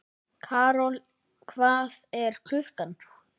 Karol, hvað er klukkan?